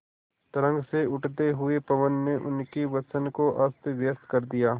तरंग से उठते हुए पवन ने उनके वसन को अस्तव्यस्त कर दिया